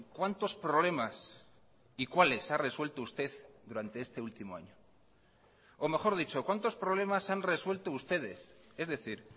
cuántos problemas y cuáles ha resuelto usted durante este último año o mejor dicho cuántos problemas han resuelto ustedes es decir